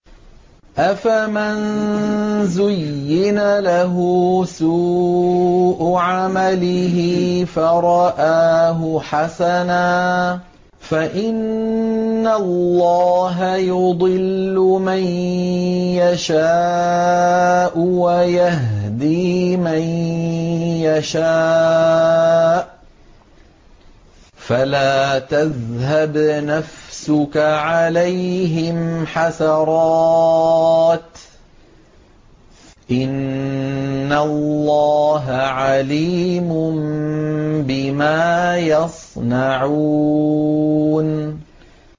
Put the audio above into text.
أَفَمَن زُيِّنَ لَهُ سُوءُ عَمَلِهِ فَرَآهُ حَسَنًا ۖ فَإِنَّ اللَّهَ يُضِلُّ مَن يَشَاءُ وَيَهْدِي مَن يَشَاءُ ۖ فَلَا تَذْهَبْ نَفْسُكَ عَلَيْهِمْ حَسَرَاتٍ ۚ إِنَّ اللَّهَ عَلِيمٌ بِمَا يَصْنَعُونَ